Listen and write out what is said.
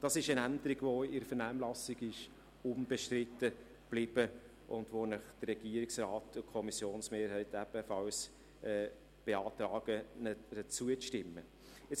Das ist eine Änderung, die in der Vernehmlassung unbestritten blieb und die Ihnen der Regierungsrat sowie die Kommissionsmehrheit ebenfalls zur Zustimmung beantragen.